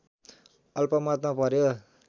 अल्पमतमा पर्‍यो